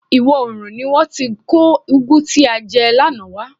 Ìwọ oòrùn ni wọ́n ti kó ugwu tí a jẹ lánàá wá.